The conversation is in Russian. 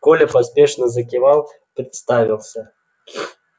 коля поспешно закивал представился